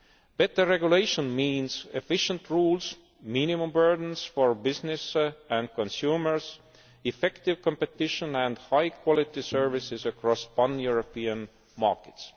Better regulation means efficient rules, minimum burdens for business and consumers, effective competition and high quality services across pan European markets.